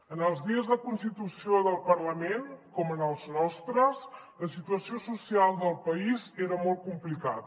en els dies de constitució del parlament com en els nostres la situació social del país era molt complicada